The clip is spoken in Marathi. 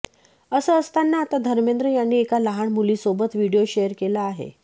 असं असताना आता धर्मेंद्र यांनी एका लहान मुलीसोबत व्हिडिओ शेअर केला आहे